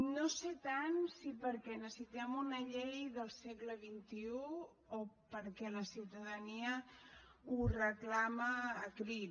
no sé tant si perquè necessitem una llei del segle xxi o perquè la ciutadania ho reclama a crits